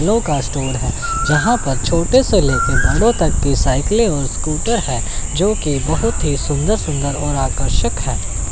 का स्टोर है। जहां पर छोटे से लेकर बड़ों तक के साइकिलें और स्कूटर है जो कि बहोत ही सुंदर सुंदर और आकर्षक हैं।